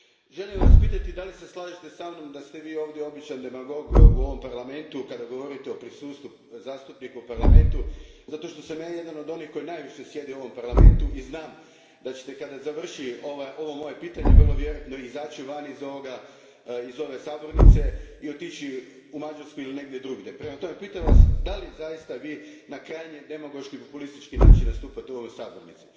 Želim vas pitati slažete li se sa mnom da ste Vi ovdje običan demagog u ovom Parlamentu kada govorite o prisustvu zastupnika u Parlamentu zato što sam ja jedan od onih koji najviše sjedi u ovom Parlamentu, i znam da ćete, kada završi ovo moje pitanje, vrlo vjerojatno izaći iz ove sabornice i otići u Mađarsku ili negdje drugdje. Prema tome, pitam Vas da li zaista na krajnje demagoški, populistički način nastupate u ovoj sabornici?